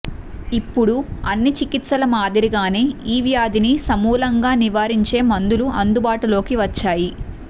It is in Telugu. ఇప్పుడు అన్ని చికిత్సల మాదిరిగానే ఈ వ్యాధిని సమూలంగా నివారించే మందులు అందుబాటులోకి వచ్చాయి